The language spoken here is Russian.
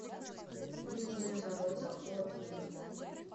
южные ворота отзывы